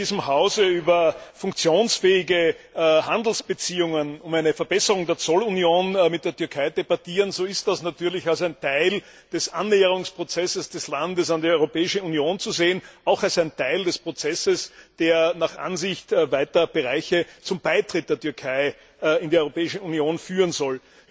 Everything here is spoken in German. Wenn wir hier in diesem Hause über funktionsfähige Handelsbeziehungen, über eine Verbesserung der Zollunion mit der Türkei debattieren, so ist das natürlich als ein Teil des Annäherungsprozesses des Landes an die Europäische Union zu sehen, auch als ein Teil des Prozesses, der nach Ansicht weiter Bereiche zum Beitritt der Türkei in die Europäische Union führen soll.